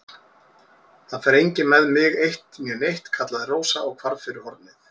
Það fer enginn með mig eitt né neitt, kallaði Rósa og hvarf fyrir hornið.